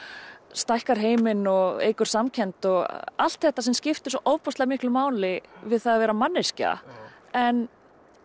stækkar heiminn og eykur samkennd og allt þetta sem skiptir svo ofboðslega miklu máli við það að vera manneskja en